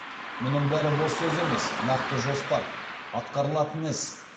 мұның бәрі бос сөз емес нақты жоспар атқарылатын іс